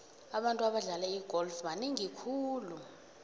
abantu abadlala igolf banengi khulu